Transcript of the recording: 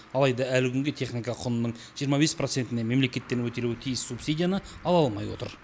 алайда әлі күнге техника құнының жиырма бес процентіне мемлекеттен өтелуі тиіс субсидияны ала алмай отыр